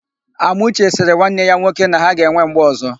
Amuche sịrị nwanne ya nwoke na ha ga-enwe mgbe ọ̀zọ́.